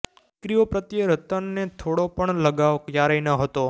દીકરી ઓ પ્રત્યે રતન ને થોડો પણ લગાવ ક્યારેય નહોતો